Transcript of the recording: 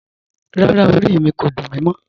Rárá, orí mi kò dún mí mọ̀